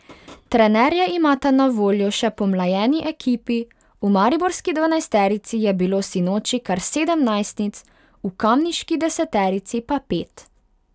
Trenerja imata na voljo še pomlajeni ekipi, v mariborski dvanajsterici je bilo sinoči kar sedem najstnic, v kamniški deseterici pa pet.